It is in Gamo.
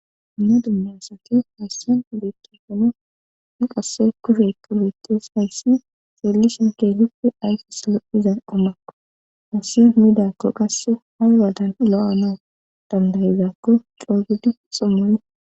Ina dummasati hayssin beekke hono nu qasse kufekka beettes hayssi xeelli shinke hippe ayfes lo'izan omakko hayssi midakko qasse hay wadan lo'anoo dandayizaakko coogudi xommuni